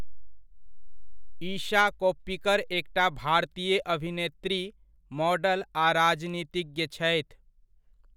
ईशा कोप्पिकर एकटा भारतीय अभिनेत्री, मॉडल आ राजनीतिज्ञ छथि।